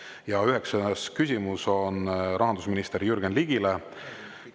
Ja üheksas küsimus on rahandusminister Jürgen Ligile.